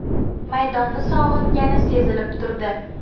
Maydonni sog‘ingani sezilib turdi.